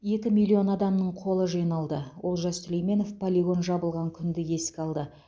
екі миллион адамның қолы жиналды олжас сүлейменов полигон жабылған күнді еске алды